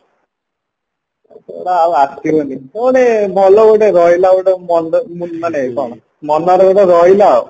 ସେଇଗୁଡା ଆଉ ଆସିବନି କଣ ଏ ଭଲ ଗୋଟେ ରହିଲା ଗୋଟେ ମନ୍ଦ ମାନେ କଣ ମନରେ ଗୋଟେ ରହିଲା ଆଉ